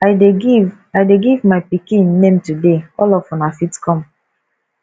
i dey give i dey give my pikin name today all of una fit come